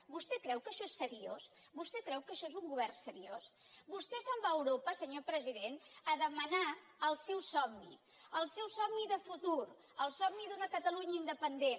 vostè creu que això és seriós vostè creu que això és un govern seriós vostè se’n va a europa senyor president a demanar el seu somni el seu somni de futur el somni d’una catalunya independent